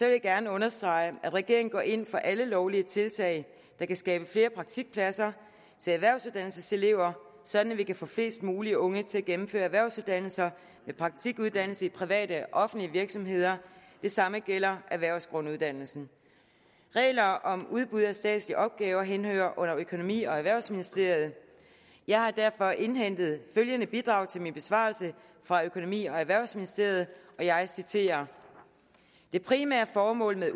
jeg gerne understrege at regeringen går ind for alle lovlige tiltag der kan skabe flere praktikpladser til erhvervsuddannelseselever sådan at vi kan få flest muligt unge til at gennemføre erhvervsuddannelser med praktikuddannelse i private og offentlige virksomheder det samme gælder erhvervsgrunduddannelsen regler om udbud af statslige opgaver henhører under økonomi og erhvervsministeriet jeg har derfor indhentet følgende bidrag til min besvarelse fra økonomi og erhvervsministeriet og jeg citerer det primære formål